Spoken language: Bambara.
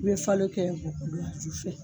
I bi falo kɛ bɔgɔ don a ju fɛ